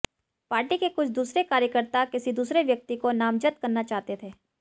party के कुछ दूसरे कार्यकर्ता किसी दूसरे व्यक्ति को नामज़द करना चाहते थे